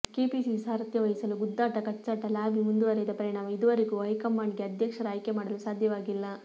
KPCC ಸಾರಥ್ಯ ವಹಿಸಲು ಗುದ್ದಾಟ ಕಚ್ಚಾಟ ಲಾಬಿ ಮುಂದುವರೆದ ಪರಿಣಾಮ ಇದೂವರೆಗೂ ಹೈಕಮಾಂಡ್ಗೆ ಅಧ್ಯಕ್ಷರ ಆಯ್ಕೆ ಮಾಡಲು ಸಾಧ್ಯವಾಗಿಲ್ಲ